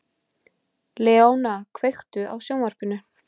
Leóna, kveiktu á sjónvarpinu.